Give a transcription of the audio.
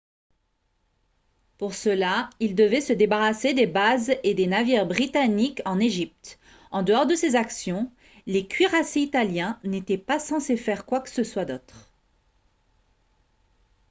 pour cela ils devaient se débarrasser des bases et des navires britanniques en égypte en dehors de ces actions les cuirassés italiens n'étaient pas censés faire quoi que ce soit d'autre